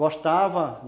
Gostava!